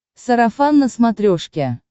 сарафан на смотрешке